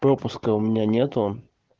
пропуска у меня нету